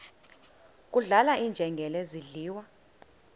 kudlala iinjengele zidliwa